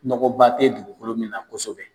Nɔgɔba tɛ dugukolo min na kosɛbɛ